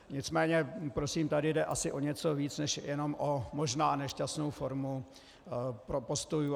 Nicméně prosím, tady jde asi o něco víc než jenom o možná nešťastnou formu postojů.